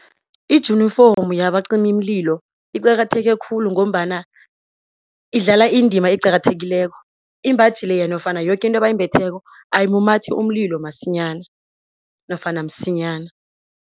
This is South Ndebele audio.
Ijunifomu yabacimimlilo iqakatheke khulu ngombana idlala indima eqakathekileko. Imbhaji leya nofana yoke into abayimbetheko ayimumathi umlilo masinyana nofana msinyana.